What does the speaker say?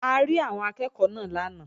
A rí àwọn akẹ́ẹ̀kọ́ náà lánàá